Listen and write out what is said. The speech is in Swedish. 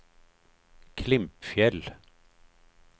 Klimpfjäll